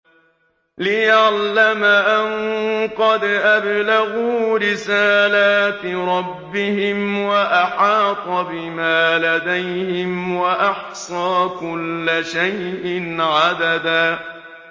لِّيَعْلَمَ أَن قَدْ أَبْلَغُوا رِسَالَاتِ رَبِّهِمْ وَأَحَاطَ بِمَا لَدَيْهِمْ وَأَحْصَىٰ كُلَّ شَيْءٍ عَدَدًا